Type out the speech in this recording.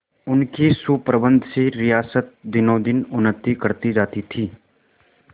उनके सुप्रबंध से रियासत दिनोंदिन उन्नति करती जाती थी